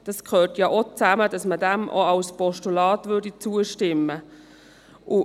Es gehört nämlich zusammen, sodass man auch als Postulat zustimmen könnte.